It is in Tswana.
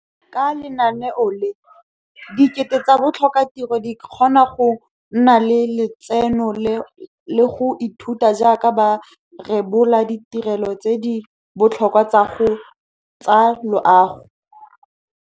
Ka lenaneo le, dikete tsa batlhokatiro di kgona go nna le lotseno le go ithuta jaaka ba rebola ditirelo tse di botlhokwa tsa loago.